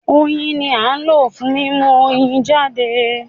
Oyin ni à ń lò fún mímú Oyin jáde